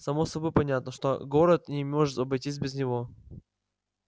само собой понятно что город не может обойтись без него